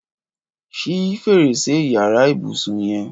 Ṣi férésé iyàrá ibùsìn yèn